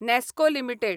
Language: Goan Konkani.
नॅस्को लिमिटेड